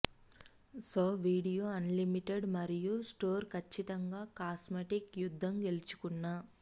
so video unlimited మరియు store ఖచ్చితంగా cosmetic యుద్ధం గెలుచుకున్న